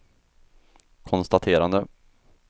konstaterade